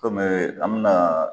Ko an bɛ na.